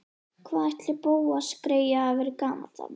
Hvað ætli Bóas greyið hafi verið gamall þarna?